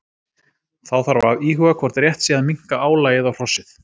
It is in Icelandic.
Þá þarf að íhuga hvort rétt sé að minnka álagið á hrossið.